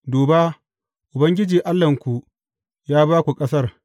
Duba, Ubangiji Allahnku ya ba ku ƙasar.